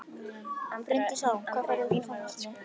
Bryndís Hólm: Hvað færðu út úr tónlistinni?